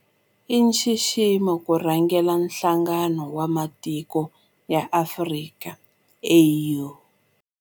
I nxiximo ku rhangela Nhlangano wa Matiko ya Afrika, AU.